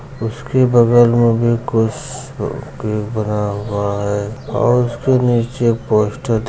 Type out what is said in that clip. उस के बगल में भी कुछ है और उस के निचे पोस्टर --